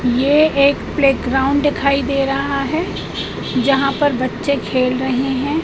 ये एक प्लेग्राउंड दिखाई दे रहा है जहां पर बच्चे खेल रहे हैं।